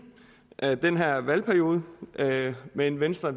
af den her valgperiode men venstre